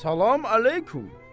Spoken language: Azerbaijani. Salam əleykum.